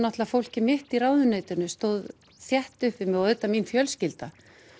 fólkið mitt í ráðuneytinu stóð þétt upp við mig og auðvitað mín fjölskylda